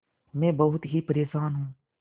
मैं बहुत ही परेशान हूँ